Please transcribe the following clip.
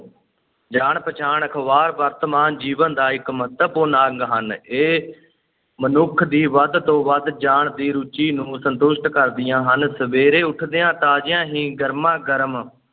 ਜਾਣ-ਪਛਾਣ ਅਖ਼ਬਾਰ ਵਰਤਮਾਨ ਜੀਵਨ ਦਾ ਇਕ ਮਹੱਤਵਪੂਰਨ ਅੰਗ ਹਨ ਇਹ ਮਨੁੱਖ ਦੀ ਵੱਧ ਤੋਂ ਵੱਧ ਜਾਣ ਦੀ ਰੁਚੀ ਨੂੰ ਸੰਤੁਸ਼ਟ ਕਰਦੀਆਂ ਹਨ, ਸਵੇਰੇ ਉੱਠਦਿਆਂ ਤਾਜ਼ੀਆਂ ਹੀ ਗਰਮਾ-ਗਰਮ